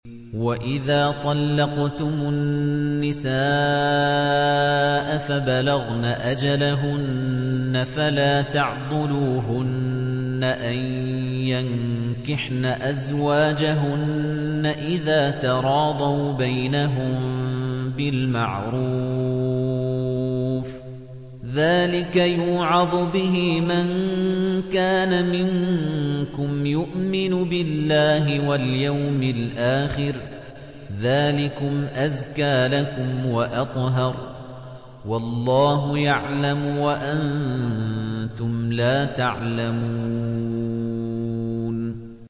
وَإِذَا طَلَّقْتُمُ النِّسَاءَ فَبَلَغْنَ أَجَلَهُنَّ فَلَا تَعْضُلُوهُنَّ أَن يَنكِحْنَ أَزْوَاجَهُنَّ إِذَا تَرَاضَوْا بَيْنَهُم بِالْمَعْرُوفِ ۗ ذَٰلِكَ يُوعَظُ بِهِ مَن كَانَ مِنكُمْ يُؤْمِنُ بِاللَّهِ وَالْيَوْمِ الْآخِرِ ۗ ذَٰلِكُمْ أَزْكَىٰ لَكُمْ وَأَطْهَرُ ۗ وَاللَّهُ يَعْلَمُ وَأَنتُمْ لَا تَعْلَمُونَ